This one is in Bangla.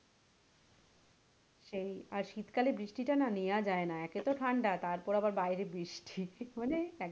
সেই আর শীতকালে বৃষ্টি টা না নেওয়া যায়না একে তো ঠাণ্ডা তারপর আবার বাইরে বৃষ্টি মানে,